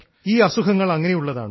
ഈ അസുഖങ്ങൾ അങ്ങനെയുള്ളതാണ്